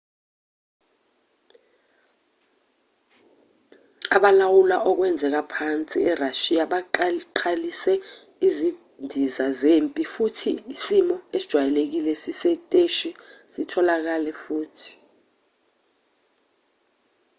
abalawula okwenzeka phansi erashiya baqalise izindiza zempi futhi isimo esijwayelekile sesiteshi satholakala futhi